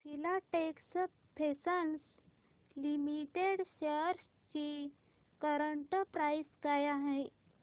Filatex fashions limited shares ची current price काय आहे